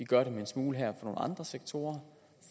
gør det en smule her nogle andre sektorer